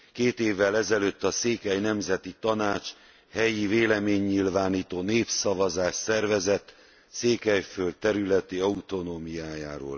Két évvel ezelőtt a Székely Nemzeti Tanács helyi véleménynyilvánító népszavazást szervezett Székelyföld területi autonómiájáról.